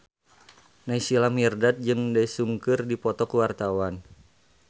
Naysila Mirdad jeung Daesung keur dipoto ku wartawan